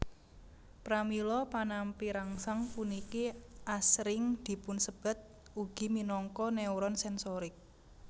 Pramila panampi rangsang puniki asring dipunsebat ugi minangka neuron sensorik